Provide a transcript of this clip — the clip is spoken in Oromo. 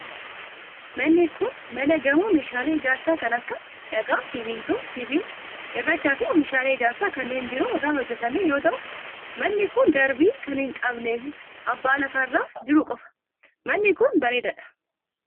Manni kun, mana gamoo meeshaalee ijaarsaa kan akka: dhagaa, simiintoo, sibiila ,cirracha fi oomishaalee ijaarsaa kanneen biroo irraa hojjatame yoo ta'u, manni kun darbii kan hin qabnee abbaa lafa irra jiruu qofa. Manni kun, bareedaa dha.